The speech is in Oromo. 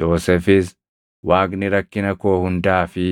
Yoosefis, “Waaqni rakkina koo hundaa fi